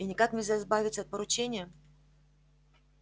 и никак нельзя избавиться от поручения